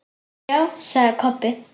Já, sagði Kobbi.